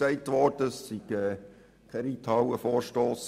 Gesagt wurde, das sei kein Reithallenvorstoss.